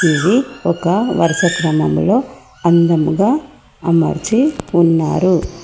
ఇది ఒక వరుస క్రమంలో అందంగా అమర్చి ఉన్నారు.